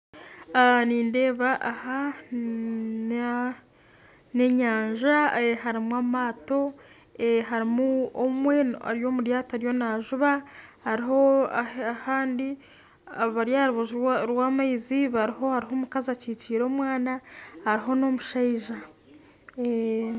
Nindeeba aha egi n'enyanja harimu amaato, hariho ori omu ryato ariyo naajuba kandi hariho abari aha rubaju rw'amaizi hariho omukazi ekikiire omwana hariho n'omushaija